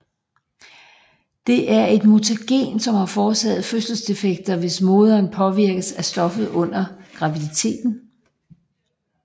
Det er et mutagen som kan forårsage fødselsdefekter hvis moderen påvirkes af stoffet under graviditeten